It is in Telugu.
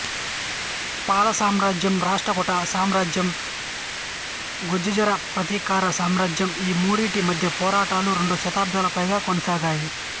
పాల సామ్రాజ్యం రాష్ట్రకూట సామ్రాజ్యం గుర్జరప్రతీహార సామ్రాజ్యం ఈ మూడింటి మధ్య పోరాటాలు రెండు శతాబ్దాలకు పైగా కొనసాగాయి